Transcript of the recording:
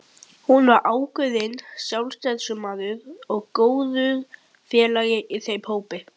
Hann var ákveðinn sjálfstæðismaður og góður félagi í þeim hópi.